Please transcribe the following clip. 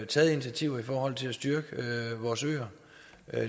taget initiativer i forhold til at styrke vores øer